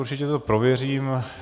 Určitě to prověřím.